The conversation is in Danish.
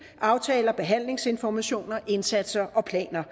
aftaler og behandlingsinformationer indsatser og planer